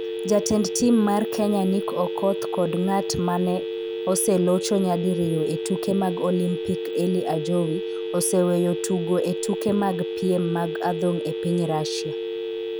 Jatend tim mar Kenya Nick Okoth kod ng'at ma oselocho nyadiriyo e tuke mag Olimpik Elly Ajowi oseweyo tugo e tuke mag piem mag adhong' e piny Russia.